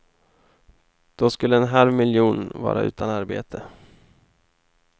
Då skulle en halv miljon vara utan arbete.